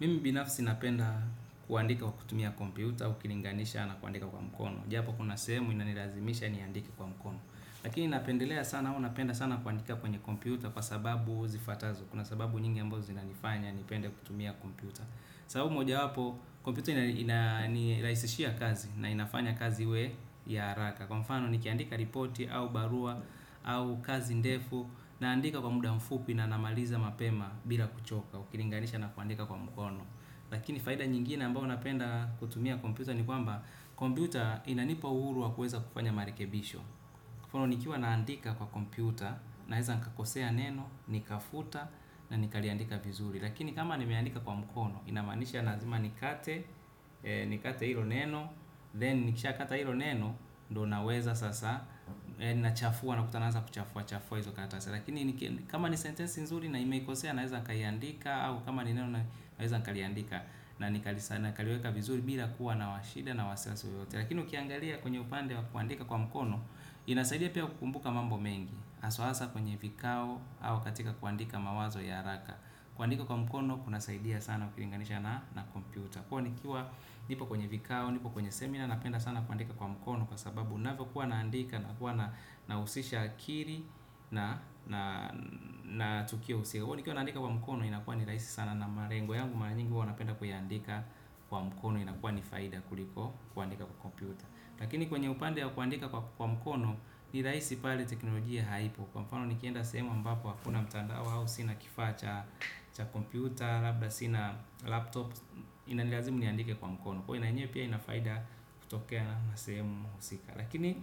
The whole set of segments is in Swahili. Mimi binafsi napenda kuandika kwa kutumia kompyuta. Ukilinganisha na kuandika kwa mkono japo kuna sehemu inanilazimisha niandike kwa mkono. Lakini napendelea sana au napenda sana kuandika kwenye kompyuta. Kwa sababu zifuatazo kuna sababu nyingi ambazo zinanifanya nipende kutumia kompyuta. Sababu moja wapo kompyuto inairahisishia kazi na inafanya kazi we ya haraka kwa mfano nikiandika ripoti au barua au kazi ndefu naandika kwa muda mfupi na namaliza mapema. Bila kuchoka ukilinganisha na kuandika kwa mkono lakini faida nyingine ambayo napenda kutumia kompyuta ni kwamba kompyuta inanipa uhuru wa kuweza kufanya marekebisho kwa mfano ono nikiwa naandika kwa kompyuta naeza nikakosea neno, nikafuta na nikaliandika vizuri lakini kama nimeandika kwa mkono inamaanisha lazima nikate, nikate hilo neno then nikisha kata hilo neno ndo naweza sasa, nachafua nakuta naanza kuchafua chafua hizo karatasi lakini kama ni sentensi nzuri na imekosea naweza kaiandika au kama ni neno naweza naweza nikaliandika na nikalisana nakaliweka vizuri bila kuwa na wa shida na wasiwasi wowote. Lakini ukiangalia kwenye upande wa kuandika kwa mkono. Inasaidia pia kukumbuka mambo mengi. Hasu hasa kwenye vikao au katika kuandika mawazo ya haraka. Kuandika kwa mkono kunasaidia sana ukilinganisha na kompyuta kwa hiyo nikiwa nipo kwenye vikao nipo kwenye seminar napenda sana kuandika kwa mkono kwa sababu navyokuwa naandika nakuwa nahusisha akili na tukio husia nikiwa naandika kwa mkono inakuwa ni rahisi sana na malengo. Yangu mara nyingi huwa napenda kuiandika kwa mkono inakuwa ni faida kuliko kuandika kwa kompyuta. Lakini kwenye upande ya kuandika kwa mkono ni rahisi pale teknolojia haipo. Kwa mfano nikienda sehemu ambapo hakuna mtandao au sina kifaa cha cha kompyuta, labda sina laptop inanilazimu niandike kwa mkono. Kwa ina yenyewe pia ina faida kutokea na sehemu husika. Lakini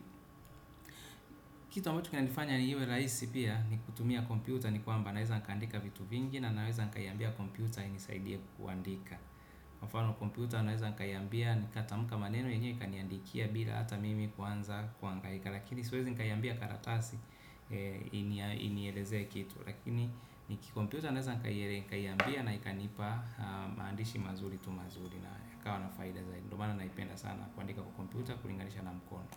kitu ambacho kinanifanya niwe rahisi pia ni kutumia kompyuta ni kwamba naweza nikaandika vitu vingi na naweza nikaiambia kompyuta inisaidie kuandika. Mfano kompyuta naweza nkaiambia nikatamka maneno yenyewe ikaniandikia bila hata mimi kuanza kuangahika. Lakini siwezi nkaiambia karatasi inieleze kitu. Lakini niki kompyuta naweza nkaiere nikaiambia na ikanipa maandidishi mazuri tu mazuri na ikawa na faida zaidi ndo maana naipenda kuandika kwa kompyuta ukilinganisha na mkono.